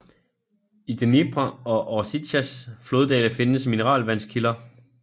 I Dneprs og Orsjitsas floddale findes mineralvandskilder